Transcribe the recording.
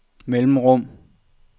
mellemrum